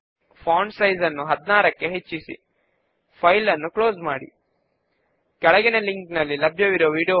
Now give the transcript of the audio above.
మనము ఇప్పుడే ఎడిట్ చేసిన రికార్డ్ ఇంకా ఇక్కడ లిస్ట్ చేయబడి లేదని గమనించండి